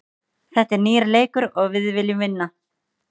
Þetta er nýr leikur og við viljum vinna.